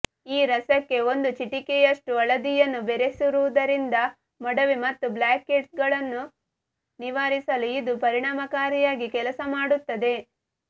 ಈ ರಸಕ್ಕೆ ಒಂದು ಚಿಟಿಕೆಯಷ್ಟು ಹಳದಿಯನ್ನು ಬೆರೆಸುವುದರಿಂದ ಮೊಡವೆ ಮತ್ತು ಬ್ಲ್ಯಾಕ್ ಹೆಡ್ಗಳನ್ನು ನಿವಾರಿಸಲು ಇದು ಪರಿಣಾಮಕಾರಿಯಾಗಿ ಕೆಲಸ ಮಾಡುತ್ತದೆ